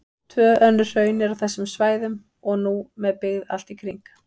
Tvö önnur hraun eru á þessum svæðum og nú með byggð allt í kring.